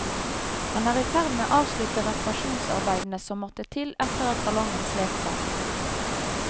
Han er i ferd med å avslutte reparasjonsarbeidene som måtte til etter at ballongen slet seg.